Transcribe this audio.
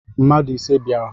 Mmadu ise biara